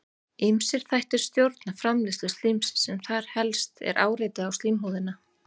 ýmsir þættir stjórna framleiðslu slímsins en þar helst er áreiti á slímhúðina